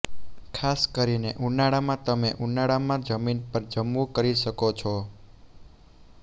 ખાસ કરીને ઉનાળામાં તમે ઉનાળામાં જમીન પર જમવું કરી શકો છો